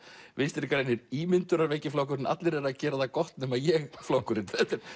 Vinstri grænir ímyndunarveiki flokkurinn allir eru að gera það gott nema ég flokkurinn